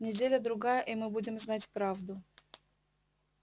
неделя-другая и мы будем знать правду